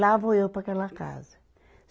Lá vou eu para aquela casa.